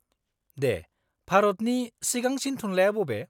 -दे। भारतनि सिगांसिन थुनलाया बबे?